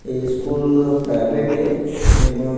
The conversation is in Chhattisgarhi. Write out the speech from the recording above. ये स्कूल हा प्राइवेट ये एमा--